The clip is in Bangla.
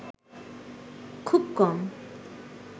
খুব কম